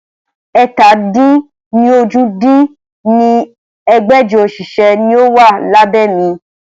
ẹ̀ta-dín-ní-ojì dín ní ẹgbẹ́jọ òṣìṣẹ́ ni ó wà lábẹ́ mi